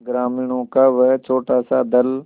ग्रामीणों का वह छोटासा दल